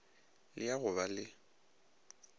le ya go ba le